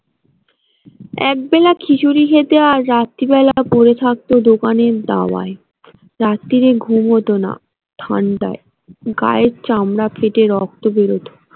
এক বেলা খিচুড়ি খেতে আর রাত্রি বেলা পড়ে থাকত দোকানে দাওয়াই রাত্তিরে ঘুম হত না ঠান্ডায়, গায়ের চামড়া ফেটে রক্ত বেরত।